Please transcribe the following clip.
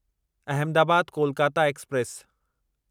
Ahmedabad Kolkata express